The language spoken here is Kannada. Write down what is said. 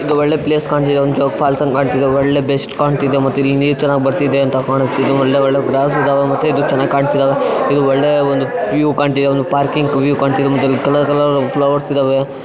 ಒಳ್ಳೆ ಪ್ಲೇಸ್ ಕಾಣ್ತಿದೆ ಒಂದ್ ಜೋಗಫಾಲ್ಸ್ ಕಾಣ್ತಿದೆ ಒಳ್ಳೆ ಬೆಸ್ಟ್ ಕಾಣ್ತಿದೆ ಮತ್ ಇಲ್ಲಿ ನೀರ್ ಚೆನ್ನಾಗ್ ಬರ್ತಿದೆ ಅಂತ ಕಾಣುತ್ತೆ ಇದು ಒಳ್ಳೆ ಒಳ್ಳೆ ಗ್ರಾಸ್ ಇದಾವೆ ಮತ್ತೆ ಇದು ಚೆನ್ನಾಗ್ ಕಾಣ್ತಿದಾವೆ ಇದು ಒಳ್ಳೆ ಒಂದು ವ್ಯೂ ಕಾಣ್ತಿದೆ ಒಂದು ಪಾರ್ಕಿಂಗ್ ವ್ಯೂ ಕಾಣ್ತಿದೆ ಮತ್ತೆ ಅಲ್ಲಿ ಕಲರ್ ಕಲರ್ ಫ್ಲವರ್ಸ್ ಇದಾವೆ.